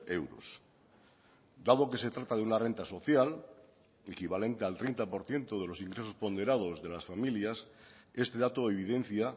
euros dado que se trata de una renta social equivalente al treinta por ciento de los ingresos ponderados de las familias este dato evidencia